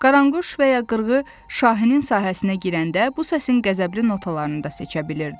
Qaranquş və ya qırğı Şahinin sahəsinə girəndə bu səsin qəzəbli notalarını da seçə bilirdi.